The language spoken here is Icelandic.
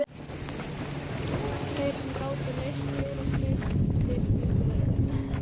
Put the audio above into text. Þeir sem gátu leyst fjórar þrautir fengu verðlaun.